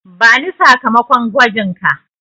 Bani sakamakon gwajinka.